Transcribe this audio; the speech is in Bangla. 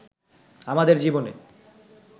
আমাদের জীবনে